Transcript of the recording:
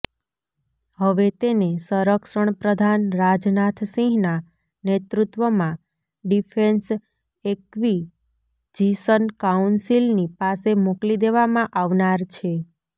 હવે તેને સંરક્ષણ પ્રધાન રાજનાથસિંહના નેતૃત્વમાં ડિફેન્સ એક્વીજિશન કાઉન્સિલની પાસે મોકલી દેવામાં આવનાર છે